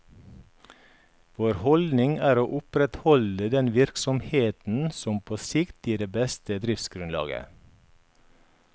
Vår holdning er å opprettholde den virksomheten som på sikt gir det beste driftsgrunnlaget.